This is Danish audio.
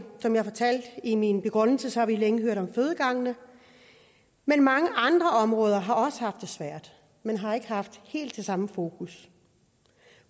som jeg fortalte i min begrundelse har vi længe hørt om fødegangene men mange andre områder har også haft det svært men har ikke haft helt samme fokus